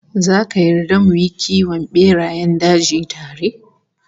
Zaka yarda mu yi kiwon berayen daji tare?